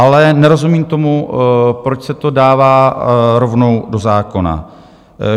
Ale nerozumím tomu, proč se to dává rovnou do zákona.